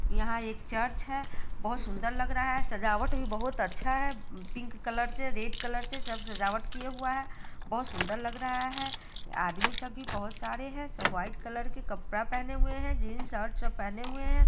यहाँ एक चर्च है बहुत सुंदर लग रहा है सजावट भी बहुत अच्छा है पिंक कलर से रेड कलर से सब सजावट किया हुआ है बहुत सुंदर लग रहा है| आदमी सब भी बहुत सारे हैं सब वाइट कलर के कपड़ा पहने हुए हैं जींस शर्ट सब पहने हुए हैं ।